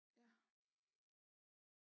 Ja